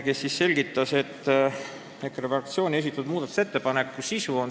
Ta selgitas EKRE fraktsiooni esitatud muudatusettepaneku sisu.